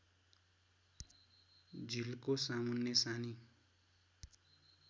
झिल्को सामुन्ने सानी